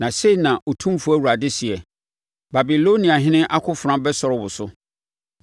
“ ‘Na sei na Otumfoɔ Awurade seɛ: “ ‘Babiloniahene akofena bɛsɔre wo so.